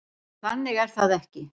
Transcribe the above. En þannig er það ekki.